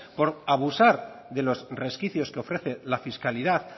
por abusar de los resquicios que ofrece la fiscalidad